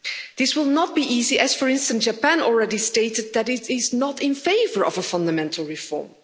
This will not be easy, as for instance, Japan already stated that it is not in favour of a fundamental reform.